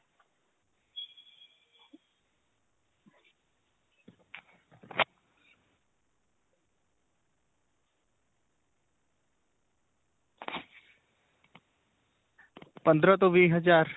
ਪੰਦਰਾ ਤੋ ਵੀਹ ਹਜ਼ਾਰ.